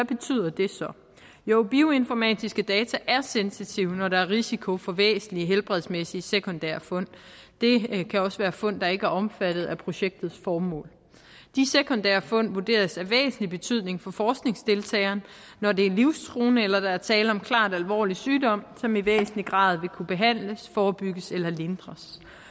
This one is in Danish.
betyder det så jo bioinformatiske data er sensitive når der er risiko for væsentlige helbredsmæssige sekundære fund det kan også være fund der ikke er omfattet af projektets formål de sekundære fund vurderes af væsentlig betydning for forskningsdeltageren når det er livstruende eller der er tale om en klart alvorlig sygdom som i væsentlig grad vil kunne behandles forebygges eller lindres